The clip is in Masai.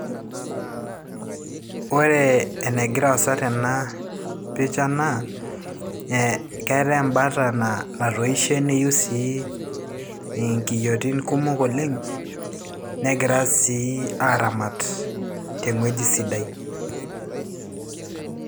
Ore enegira aasa tena picha naa ee keetay embata naa natoishe neiu sii inkiyiotin kumok oleng negira sii aaramat teng'ueji sidai.